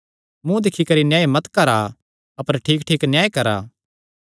मुँ दिक्खी करी न्याय मत करा अपर ठीकठीक न्याय करा